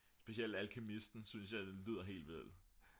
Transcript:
specielt alkymisten synes jeg lyder helt vildt